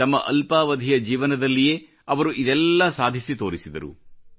ತಮ್ಮ ಅಲ್ಪಾವಧಿಯ ಜೀವನದಲ್ಲಿಯೇ ಅವರು ಇದೆಲ್ಲ ಸಾಧಿಸಿ ತೋರಿಸಿದರು